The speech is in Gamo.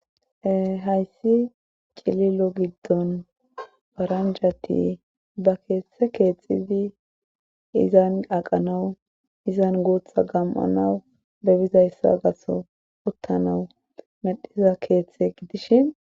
Hayssi cililo giddon faranjati ba keethte keexxizi izan aqanawu izan guutha gam7anawu bebizayssa gaso uttanawu medhiza keeththe gidishin.